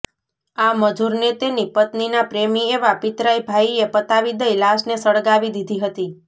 આ મજૂરને તેની પત્નીના પ્રેમી એવા પિતરાઈ ભાઇએ પતાવી દઈ લાશને સળગાવી દીધી હતી